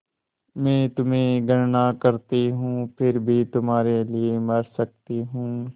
मैं तुम्हें घृणा करती हूँ फिर भी तुम्हारे लिए मर सकती हूँ